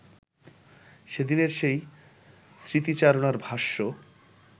সেদিনের সেই স্মৃতিচারণার ভাষ্য